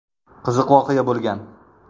Qiziq voqea bo‘lgan.